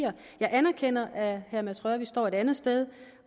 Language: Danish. jeg anerkender at herre mads rørvig står et andet sted